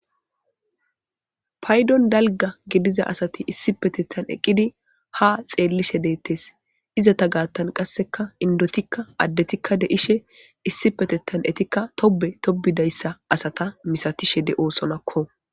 paydon dalga gediza asati issi petettan eqqidi ha xeellishe deettes iza ta gaattan qasseka indotikka addetikka deishe issi petettan etikka tobe tobidayssa asata misatishe de7oosonakko